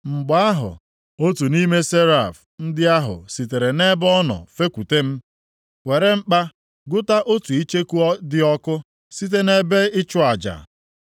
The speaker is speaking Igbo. Mgbe ahụ, otu nʼime seraf ndị ahụ sitere nʼebe ọ nọ fekwute m, were mkpa gụta otu icheku dị ọkụ site nʼebe ịchụ aja. + 6:6 Ebe ịchụ aja a, nke dị nʼetiti ebe nsọ ahụ, ka a na-achụ aja ụda ndị ahụ na-esi isi ụtọ \+xt Mkp 8:3\+xt*